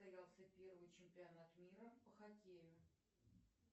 состоялся первый чемпионат мира по хоккею